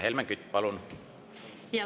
Helmen Kütt, palun!